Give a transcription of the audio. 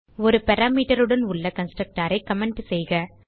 ஒரு பாராமீட்டர் உடன் உள்ள கன்ஸ்ட்ரக்டர் ஐ கமெண்ட் செய்க